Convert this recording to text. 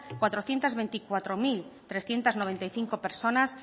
cuatrocientos veinticuatro mil trescientos noventa y cinco personas